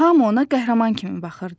Hamı ona qəhrəman kimi baxırdı.